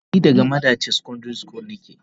Eh ni daga madaci secondary school ne.